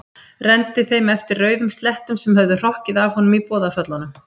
Renndi þeim eftir rauðum slettum sem höfðu hrokkið af honum í boðaföllunum.